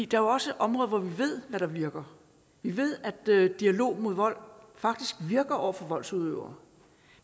der er også områder hvor vi ved hvad der virker vi ved at dialog mod vold faktisk virker over for voldsudøvere